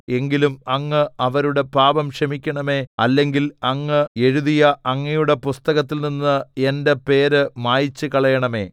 എങ്കിലും അങ്ങ് അവരുടെ പാപം ക്ഷമിക്കണമേ അല്ലെങ്കിൽ അങ്ങ് എഴുതിയ അങ്ങയുടെ പുസ്തകത്തിൽനിന്ന് എന്റെ പേര് മായിച്ചുകളയണമേ